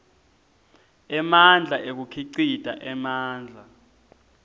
emandla ekukhicita emandla